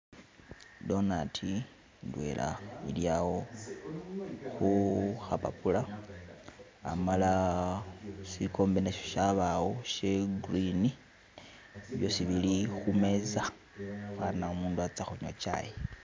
Idonati idwena ilyawo kukapapula, amala, sikombe nasho shabawo sha green byosi bili kumeza fana umuntu aza kunywa chayi